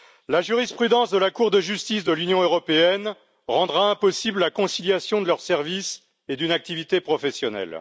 La jurisprudence de la Cour de justice de l'Union européenne rendra impossible la conciliation de leurs services et d'une activité professionnelle.